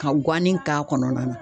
Ka guwannin k'a kɔnɔna na.